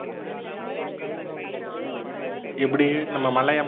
எப்படி நம்ப மல்லையா